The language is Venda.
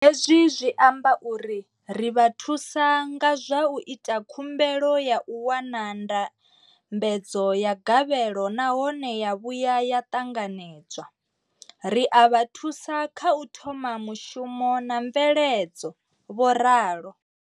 Hezwi zwi amba uri ri vha thusa nga zwa u ita khumbelo ya u wana ndambedzo ya gavhelo nahone ya vhuya ya ṱanganedzwa, ri a vha thusa kha u thoma mushumo na mveledzo, vho ralo.